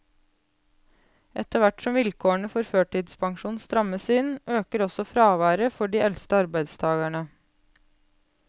Etterhvert som vilkårene for førtidspensjon strammes inn, øker også fraværet for de eldste arbeidstagerne.